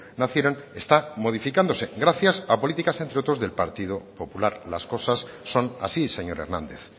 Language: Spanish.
nacieron está modificándose gracias a políticas entre otros del partido popular las cosas son así señor hernández